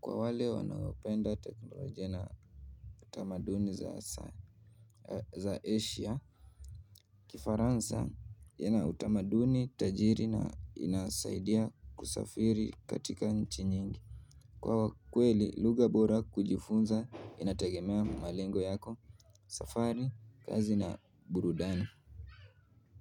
kwa wale wanaopenda teknolojia na tamaduni za Asia. Kifaransa yana utamaduni, tajiri na inasaidia kusafiri katika nchi nyingi kwa kweli lugha bora kujifunza inategemea malengo yako, safari, kazi na burudani.